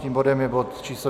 Tím bodem je bod číslo